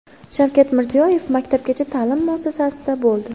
Shavkat Mirziyoyev maktabgacha ta’lim muassasasida bo‘ldi.